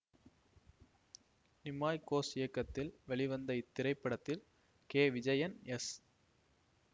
நிமாய் கோஷ் இயக்கத்தில் வெளிவந்த இத்திரைப்படத்தில் கே விஜயன் எஸ்